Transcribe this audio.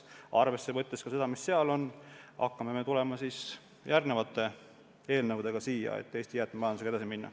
Arvesse võttes ka seda, mis seal kirjas on, me hakkame siia tulema järgmiste eelnõudega, kuidas Eesti jäätmemajandusega edasi minna.